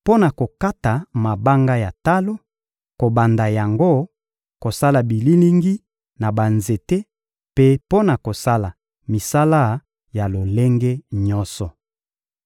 mpo na kokata mabanga ya talo, kobamba yango, kosala bililingi na banzete mpe mpo na kosala misala ya lolenge nyonso.»